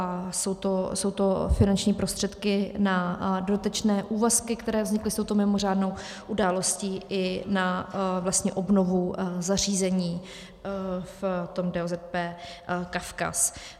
A jsou to finanční prostředky na dotyčné úvazky, které vznikly s touto mimořádnou událostí, i na obnovu zařízení v tom DOZP Kavkaz.